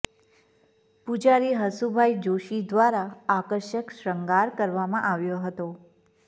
પૂજારી હસુભાઈ જોશી દ્વારા આકર્ષક શૃંગાર કરવામાં આવ્યો હતો